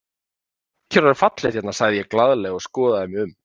Mikið er orðið fallegt hérna sagði ég glaðlega og skoðaði mig um.